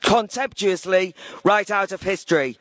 contemptuously write out of history.